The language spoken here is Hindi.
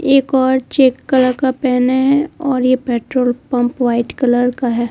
एक और चेक कलर का पहने हैं और यह पेट्रोल पंप व्हाइट कलर का है।